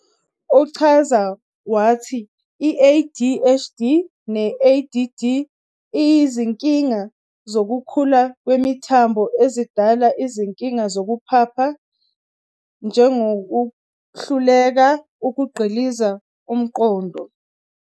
Uchaza wathi i-ADHD ne-ADD, iyizinkinga zokukhula kwemithambo ezidala izinkinga zokuphapha, njegokuhluleka ukugxilisa umqondo.